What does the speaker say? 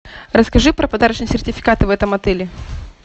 расскажи про подарочные сертификаты в этом отеле